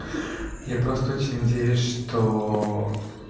я просто очень надеюсь что